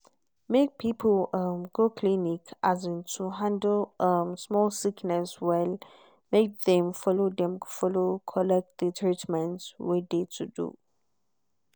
make people um go clinic um to handle um small sickness well make dem follow dem follow collect de treatment wey de to do.